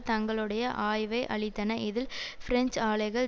தங்களுடைய ஆய்வை அளித்தன இதில் பிரெஞ்சு ஆலைகள்